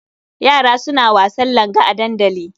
Yara suna wasan langa a dandali.